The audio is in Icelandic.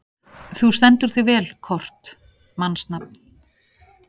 Þú stendur þig vel, Kort (mannsnafn)!